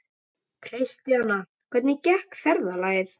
Kristjana, hvernig gekk ferðalagið?